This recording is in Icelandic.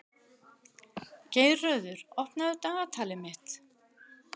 Geirröður, opnaðu dagatalið mitt.